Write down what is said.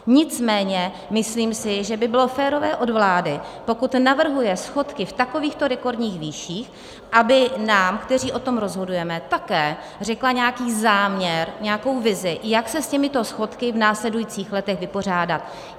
Nicméně myslím si, že by bylo férové od vlády, pokud navrhuje schodky v takovýchto rekordních výších, aby nám, kteří o tom rozhodujeme, také řekla nějaký záměr, nějakou vizi, jak se s těmito schodky v následujících letech vypořádat.